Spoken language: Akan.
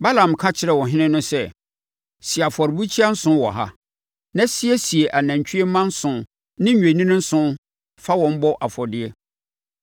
Balaam ka kyerɛɛ ɔhene no sɛ, “Si afɔrebukyia nson wɔ ha, na siesie anantwie mma nson ne nnwennini nson fa wɔn bɔ afɔdeɛ.”